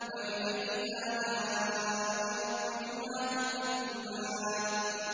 فَبِأَيِّ آلَاءِ رَبِّكُمَا تُكَذِّبَانِ